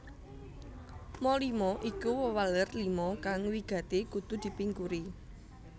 Ma lima iku wewaler lima kang wigati kudu dipingkuri